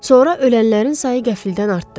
Sonra ölənlərin sayı qəfildən artdı.